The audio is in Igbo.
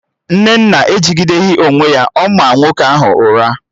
Nnenna ejideghi onwe ya, ọ maa nwoke ahụ ụra